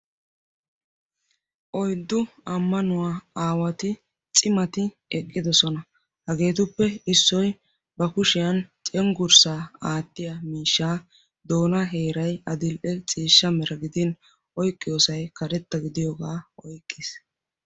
oyddu ammanuwaa aawati cimmati eqqidoosona. hageetuppe issoy ba kushiyan cenggurssa aattiya miishsha doonan heeray adil''e ciishsha mera gidin oyqqidoosa karetta gidiyooga oyqqiis.